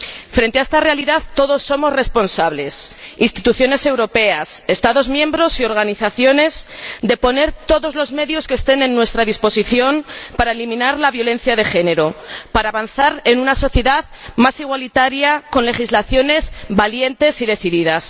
Frente a esta realidad, todos somos responsables —instituciones europeas, Estados miembros y organizaciones— de poner todos los medios que estén a nuestra disposición para eliminar la violencia de género, para avanzar en una sociedad más igualitaria, con legislaciones valientes y decididas.